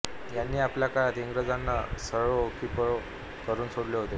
यांनी आपल्या काळात इंग्रजांना सळो की पळो करून सोडले होते